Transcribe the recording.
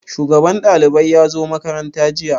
Shugaban ɗalibai ya zo makaranta jiya?